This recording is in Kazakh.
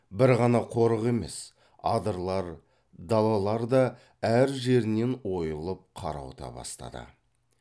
бір ғана қорық емес адырлар далалар да әр жерінен ойылып қарауыта бастады